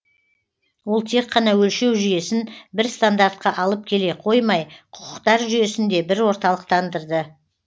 ол тек қана өлшеу жүйесін бір стандартқа алып келе қоймай құқықтар жүйесін де бір орталықтандырды